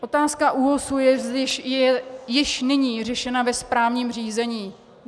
Otázka ÚOHS je již nyní řešena ve správním řízení.